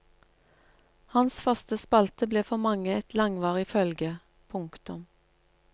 Hans faste spalte ble for mange et langvarig følge. punktum